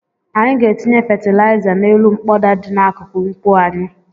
Anyị ga-etinye fatịlaịza n'elu mkpọda dị n'akụkụ nkwụ anyị.